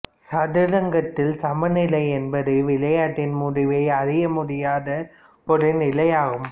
சதுரங்கத்தில் சமநிலை என்பது விளையாட்டின் முடிவை அறிய முடியாத ஒரு நிலையாகும்